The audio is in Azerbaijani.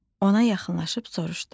Ona yaxınlaşıb soruşdum.